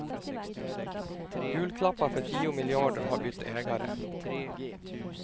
Julklappar för tio miljarder har bytt ägare.